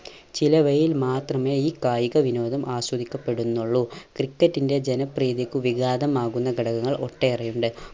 ചിലവയിൽ മാത്രമേ ഈ കായിക വിനോദം ആസ്വദിക്കപ്പെടുന്നുള്ളു. ക്രിക്കറ്റിന്റെ ജനപ്രീതിക്ക് വിഗാതമാകുന്ന ഘടകങ്ങൾ ഒട്ടേറെയുണ്ട്.